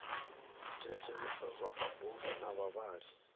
thetshelesa zwa mabofu na vhavhali